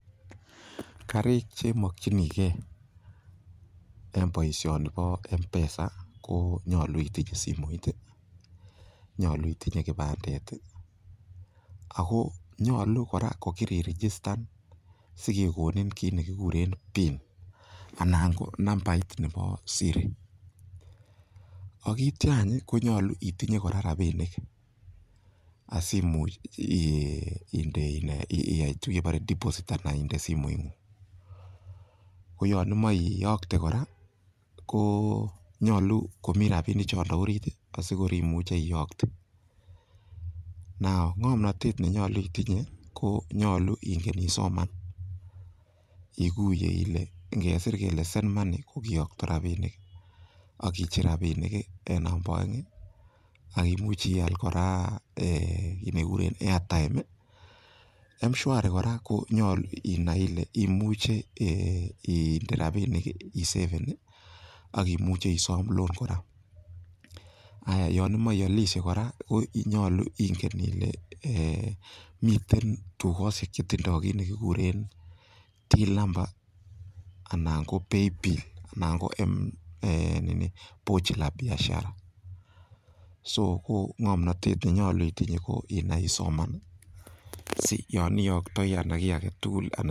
Karik che mokchinikei eng boisioni bo m-pesa ko nyolu itinye simoit ii, nyolu itinye kipandet ii, ako nyolu kora ko kiri irigistan si kekonin kiit ne kikure pin anan ko nambait nebo siri, ak ityo any ii konyolu itinye kora rabiinik asi imuch inde in ee iya tuguk che kibore deposit anan inde simoingung, ko yon imoche iyokte kora ko nyolu komi rabiinik chondo orit ii asi korimuchi iyokte. Now ngomnotet ne nyolu itinye ko nyolu ingen isoman, iguye ile ngesir kele send money ko kiyokto rabiinik ak kicher rabiinik eng number aeng ii ak imuch ial kora ee kiit ne kikuren airtime ii, mshwari kora nyalu inai ile imuche ee inde rabiinik ii iseven ii, ak imuche isom loan kora, haya yon imoche ialishe kora ko nyolu ingen ile ee miten dukosiek chetindo kiit nekikuren till number anan ko paybill anan ko pochi la biashara so ko ngomnotet ne nyolu itinye ko inai isoman ii, asi yon iyoktoi anan kiy age tugul...